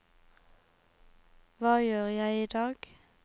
hva gjør jeg idag